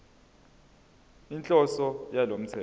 inhloso yalo mthetho